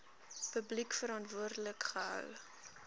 publiek verantwoordelik gehou